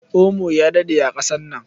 Omo ya daɗe a ƙasar nan.